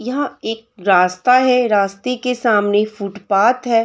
यहां एक रास्ता है रास्ते के सामने फुटपात है।